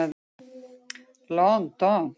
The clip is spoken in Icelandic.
Lon don.